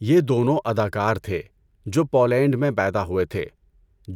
یہ دونوں اداکار تھے جو پولینڈ میں پیدا ہوئے تھے۔